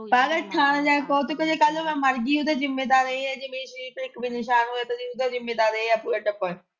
ਕੱਲ ਇਹ ਥਾਣੇ ਜਾ ਕੇ ਕਹਿ ਕੀ ਕੱਲ ਨੂੰ ਜੇ ਮੈਂ ਮਰ ਗਈ ਤੇ ਉਹਦਾ ਜ਼ਿੰਮੇਦਾਰ ਏ ਹੈ ਜੇ ਮੇਰੇ ਸਰੀਰ ਤੇ ਇੱਕ ਵੀ ਨਿਸ਼ਾਨ ਹੋਇਆ ਤੇ ਉਹਦਾ ਜ਼ਿੰਮਮੇਦਾਰ ਏ ਪੂਰਾ ਟੱਬਰ।